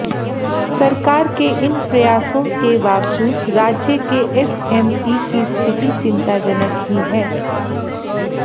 सरकार के इन प्रयासों से बावजूद राज्य के एसएमई की स्थिति चिंताजनक ही है